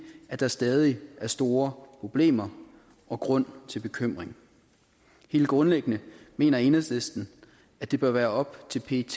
at der stadig er store problemer og grund til bekymring helt grundlæggende mener enhedslisten at det bør være op til pet